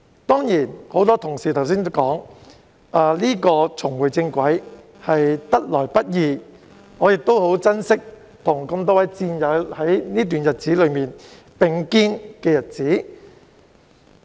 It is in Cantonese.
多位同事剛才提及，重回正軌是得來不易的，我亦很珍惜期間與多位戰友並肩的日子。